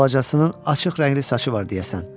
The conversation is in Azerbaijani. Balacasının açıq rəngli saçı var deyəsən.